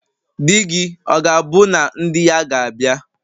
Di-gi, ọ̀ gābu na ndi-ya gābia?